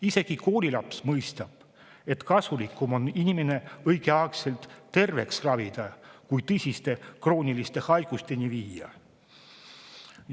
Isegi koolilaps mõistab, et kasulikum on inimene õigeaegselt terveks ravida, kui tõsiste krooniliste haiguste.